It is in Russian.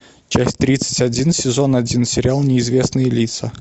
часть тридцать один сезон один сериал неизвестные лица